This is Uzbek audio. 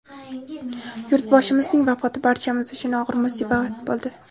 Yurtboshimizning vafoti barchamiz uchun og‘ir musibat bo‘ldi.